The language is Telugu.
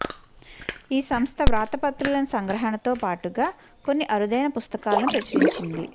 ఈ సంస్థ వ్రాతప్రతులను సంగ్రహణతో బాటుగా కొన్ని అరుదైన పుస్తకాలను ప్రచురించింది